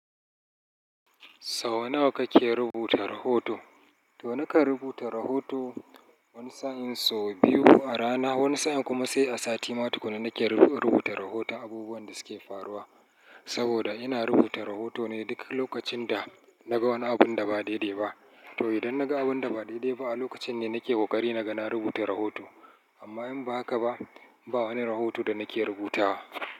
Sau nawa kake rubuta rahoto? To nakan rubuta rahoto wani sa'in sau biyu a rana, wani sa'in kuma sai a sati ma tuƙan na nake rubuta rahoto abubuwan da suke faruwa. Saboda ina rubuta rahoto ne duk lokacin da naga wani abun da ba daidai ba. To idan naga abun da ba daidai ba a lokacin ne nake ƙoƙari naga na rubuta rahoto. Amma in ba haka ba, ba wani rahoto da nake rubutawa.